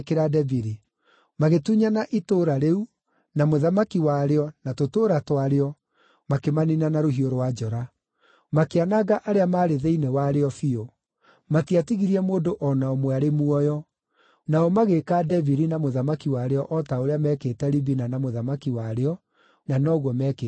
Magĩtunyana itũũra rĩu, na mũthamaki warĩo, na tũtũũra twarĩo, makĩmaniina na rũhiũ rwa njora. Makĩananga arĩa maarĩ thĩinĩ warĩo biũ. Matiatigirie mũndũ o na ũmwe arĩ muoyo. Nao magĩĩka Debiri na mũthamaki warĩo o ta ũrĩa meekĩte Libina na mũthamaki warĩo, na noguo meekĩte Hebironi.